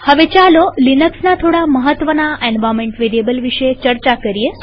હવે ચાલો લિનક્સના થોડા મહત્વના એન્વાર્નમેન્ટ વેરીએબલ વિશે ચર્ચા કરીએ